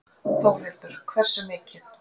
Þórhildur: Hversu mikið?